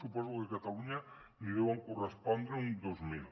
suposo que a catalunya n’hi deuen correspondre uns dos mil